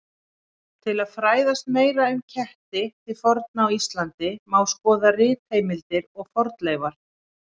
Til að fræðast meira um ketti til forna á Íslandi má skoða ritheimildir og fornleifar.